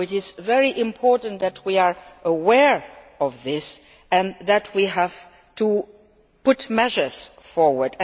So it is very important that we are aware of this and that we have to put measures forward.